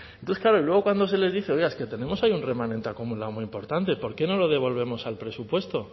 entonces claro y luego cuando se les dice oiga es que tenemos ahí un remanente acumulado muy importante por qué no lo devolvemos al presupuesto